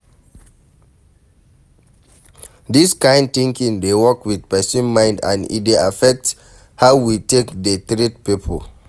This kind thinking dey work with person mind and e dey affect how we take dey treat pipo